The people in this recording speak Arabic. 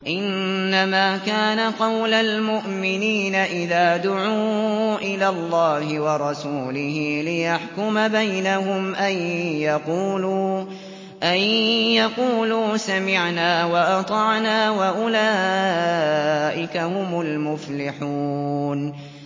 إِنَّمَا كَانَ قَوْلَ الْمُؤْمِنِينَ إِذَا دُعُوا إِلَى اللَّهِ وَرَسُولِهِ لِيَحْكُمَ بَيْنَهُمْ أَن يَقُولُوا سَمِعْنَا وَأَطَعْنَا ۚ وَأُولَٰئِكَ هُمُ الْمُفْلِحُونَ